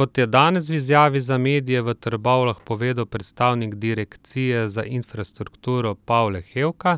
Kot je danes v izjavi za medije v Trbovljah povedal predstavnik direkcije za infrastrukturo Pavle Hevka,